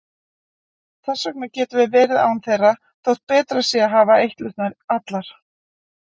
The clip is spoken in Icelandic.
Þess vegna getum við verið án þeirra þótt betra sé að hafa eitlurnar allar.